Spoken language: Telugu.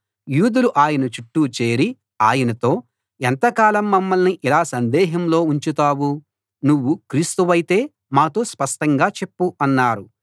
యూదులు ఆయన చుట్టూ చేరి ఆయనతో ఎంతకాలం మమ్మల్ని ఇలా సందేహంలో ఉంచుతావు నువ్వు క్రీస్తువైతే మాతో స్పష్టంగా చెప్పు అన్నారు